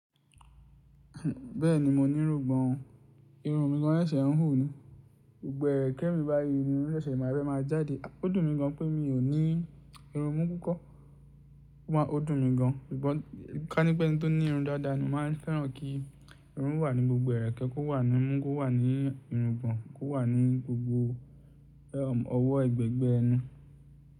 Bẹ́ẹ̀ni mo ní irúgbọ̀n o, irun mí gan ń sẹ̀sẹ̀ ń hù ni. Gbo ẹrẹkẹ mi báyìí irun sẹsẹ máa fẹ máa jáde. Ó dùn mí gan pé mi ò ní irun imú púpọ̀. Ó dùn mí gan. Ka ní pé ẹni tó ní irun dáadáa ni máa ń fẹ́ràn kí irun wà ní gbogbo ẹ̀rẹ̀kẹ́, kó wà ní imú, kó wà ní irúgbọ̀n, kó wà ní gbogbo ọwọ́ ẹgbẹẹgbẹ ẹnu.